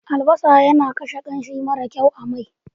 Albasa yana kashe ƙarni mara kyau a mai.